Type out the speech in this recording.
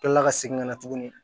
Kila ka segin ka na tuguni